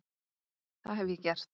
Það hef ég gert.